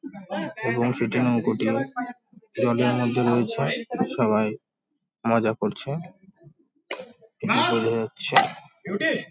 এবং সেটি নৌকোটি জলের মধ্যে রয়েছে। সবাই মজা করছে। যাচ্ছে।